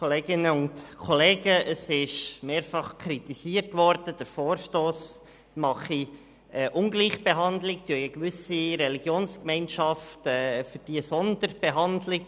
Es ist mehrfach kritisiert worden, der Vorstoss mache eine Ungleichbehandlung und verlange für gewisse Gemeinschaften eine Sonderbehandlung.